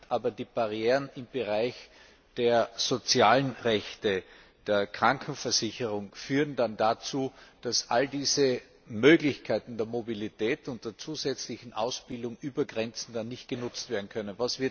Aber die Barrieren im Bereich der sozialen Rechte und der Krankenversicherung führen dazu, dass all diese Möglichkeiten der Mobilität und der zusätzlichen Ausbildung über Grenzen hinweg nicht genutzt werden können.